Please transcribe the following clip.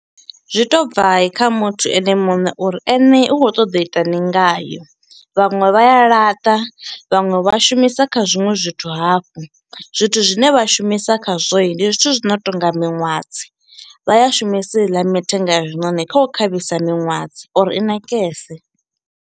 Zwi to bva i kha muthu ene muṋe uri ene u kho ṱoḓa u itani ngayo vhaṅwe vha ya laṱa vhaṅwe vha shumisa kha zwiṅwe zwithu hafhu, zwithu zwine vha shumisa khazwoi ndi zwithu zwino tonga miṅwadzi vha ya shumisi heiḽa mithenga ya zwiṋoni kha u khavhisa miṅwadzi uri i nakese.